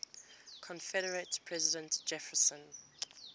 confederate president jefferson